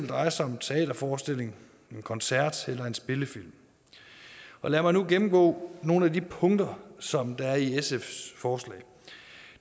dreje sig om en teaterforestilling en koncert eller en spillefilm lad mig nu gennemgå nogle af de punkter som er i sfs forslag